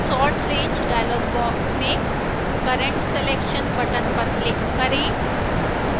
sort range dialog box में current selection button पर click करें